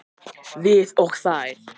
Við og þeir